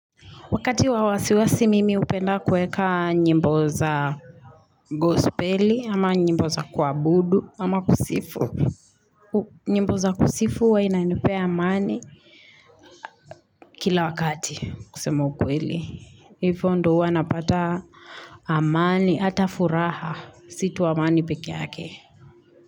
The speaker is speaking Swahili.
Wakati wawasiwasi mimi hupenda kuweka nyimbo za gospeli ama nyimbo za kwabudu ama kusifu. Nyimbo za kusifu huwa inanipea amani kila wakati kusema ukweli. Ifo ndo uwanapata amani ata furaha si tu amani pekeyake.